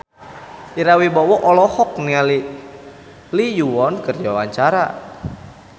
Ira Wibowo olohok ningali Lee Yo Won keur diwawancara